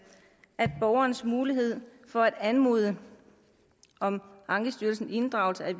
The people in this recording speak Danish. at borgerens mulighed for at anmode om ankestyrelsens inddragelse af